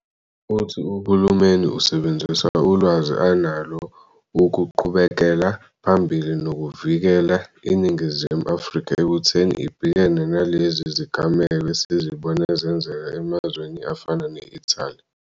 Uthi uhulumeni usebenzisa ulwazi analo uku-qhubekela phambili noku-vikela iNingizimu Afrika ekutheni ibhekane nalezi zigameko esizibone zenzeka emazweni afana ne-Italy.